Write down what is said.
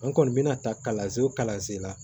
N kɔni mɛna ta kalansen o kalansen la